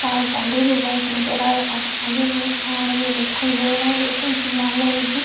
और पौधे भी बहुत नजर आये और आगे में पहाड़ भी दिखाई दे रहा है है की बादल भी --